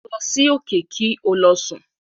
Lọ sí òkè kí o lọ sùn.